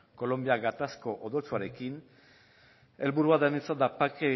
kolonbia gatazko odoltsuarekin helburua denontzat da bake